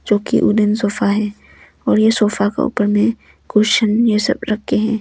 जोकि wooden sofa है और यह सोफा के ऊपर में कुशन यह सब रके हैं।